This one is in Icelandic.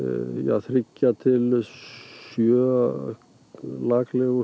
þriggja til sjö